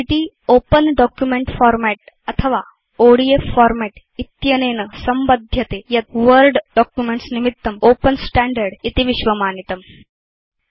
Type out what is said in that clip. ODT Open document format अथवा ODF format इत्यनेन संबध्यते यत् वर्ड डॉक्युमेंट्स् निमित्तं ओपेन स्टैण्डर्ड् इति विश्वमानितम्